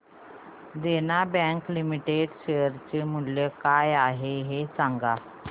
देना bank limited share चे मूल्य काय आहे हे सांगा